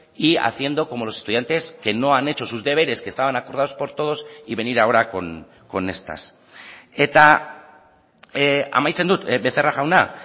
y haciendo como los estudiantes que no han hecho sus deberes que estaban acordados por todos y venir ahora con estas eta amaitzen dut becerra jauna